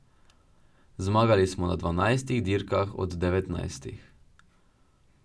Zmagali smo na dvanajstih dirkah od devetnajstih.